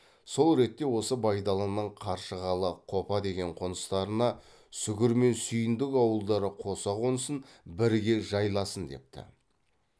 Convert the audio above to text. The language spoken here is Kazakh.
сол ретте осы байдалының қаршығалы қопа деген қоныстарына сүгір мен сүйіндік ауылдары қоса қонсын бірге жайласын депті